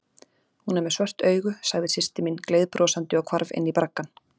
Hún er með svört augu, sagði systir mín gleiðbrosandi og hvarf inní braggann.